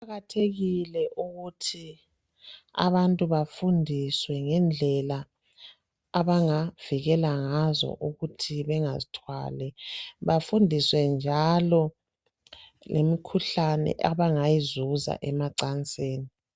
kuqkathekile ukuthi abantu befundiswe ngendlela abangavikela ngazo ukuthi bangazithwali bafundiswe njalo lemikhuhlane abangayizuza emacansini